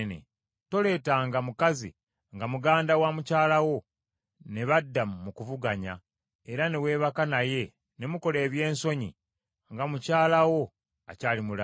“ ‘Toleetanga mukazi nga muganda wa mukyala wo ne badda mu kuvuganya, era ne weebaka naye ne mukola ebyensonyi nga mukyala wo akyali mulamu.